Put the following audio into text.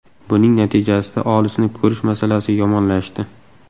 Buning natijasida olisni ko‘rish masalasi yomonlashdi.